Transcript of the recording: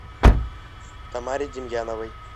тамаре демьяновой